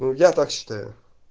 ну я так считаю